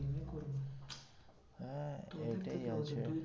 হ্যাঁ এইটাই আছে